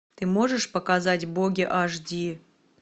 ты можешь показать боги аш ди